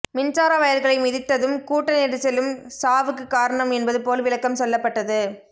மின்சார வயர்களை மிதித்ததும் கூட்ட நெரிசலும் சாவுக்கு காரணம் என்பது போல் விளக்கம் சொல்லப்பட்டது